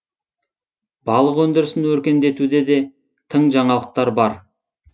балық өндірісін өркендетуде де тың жаңалықтар бар